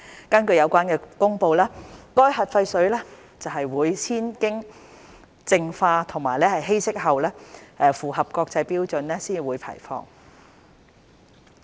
根據有關的公布，核廢水會先經淨化和稀釋後，符合國際標準才會排放。